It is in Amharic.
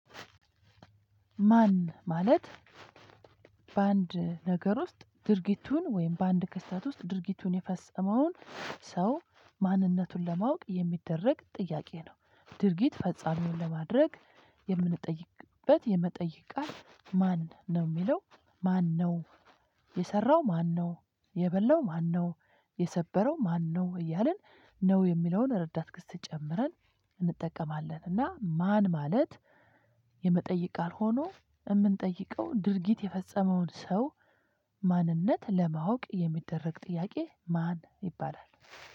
ማን? ማለት በአንድ ነገር ውስጥ ድርጊቱን ወይም በአንድ ክስተት ውስጥ ድርጊቱን የፈጸመውን ሰው ማንነቱን ለማወቅ የሚደረግ ጥያቄ ነው። ድርጊት ፈጻሚውን ለማድረግ የምንጠይቅበት የመጠየቅ ቃል ማን ነው? የሚለው ማን ማነው? የሰራው ማነው? የበላው ማነው? የሰበረው ማነው? እያልን ነው የሚለውን ረዳት ክስት ጨምረን እንጠቀማለን እና ማን? ማለት የመጠየቅ ቃል ሆኖ የምንጠይቀው ድርጊት የፈጸመውን ሰው ማንነት ለማወቅ የሚደረግ ጥያቄ ማን ይባላል።